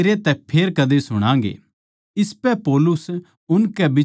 इसपै पौलुस उनकै बिचाळै तै लिकड़ग्या